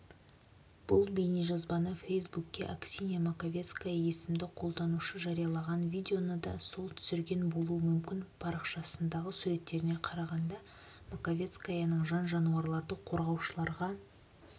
бұл бейнежазбаны фейсбукке аксинья маковецкая есімді қолданушы жариялаған видеоны да сол түсірген болуы мүмкін парақшасындағы суреттеріне қарағанда маковецкаяның жан-жануарларды қорғаушыларға